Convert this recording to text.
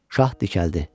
Şah dikəldi.